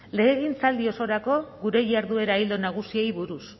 legegintzaldi osorako gure jarduera ildo nagusiei buruz